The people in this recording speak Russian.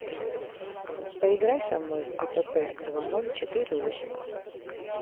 поиграй со мной в апп два ноль четыре восемь